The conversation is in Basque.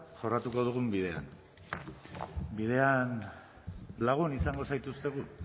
jorratuko dugun bidea bidean lagun izango zaituztegu